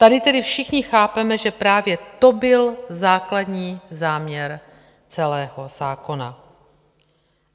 Tady tedy všichni chápeme, že právě to byl základní záměr celého zákona.